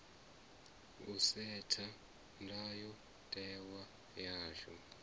u setha ndayo tewa yashu